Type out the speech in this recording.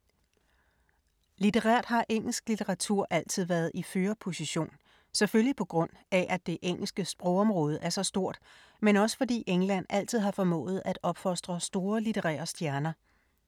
Litterært har engelsk litteratur altid været i en førerposition, selvfølgelig på grund af at det engelske sprogområde er så stort, men også fordi England altid har formået at opfostre store litterære stjerner.